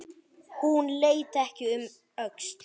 Hún leit ekki um öxl.